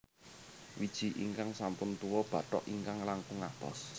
Wiji ingkang sampun tuwa bathok ingkang langkung atos